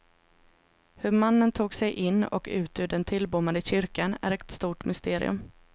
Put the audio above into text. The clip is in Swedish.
Hur mannen tog sig in och ut ur den tillbommade kyrkan är ett stort mysterium.